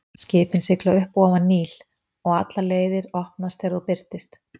Skipin sigla upp og ofan Níl, og allar leiðir opnast þegar þú birtist.